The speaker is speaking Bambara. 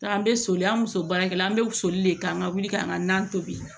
Taa an bɛ soli an bɛ so baara kɛ la an bɛ wusuli de kan wuli ka an ka nan tobi